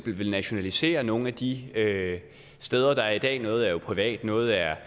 vil nationalisere nogle af de steder der er i dag noget er jo privat noget er